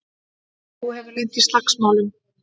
Þú hefur lent í slagsmálum!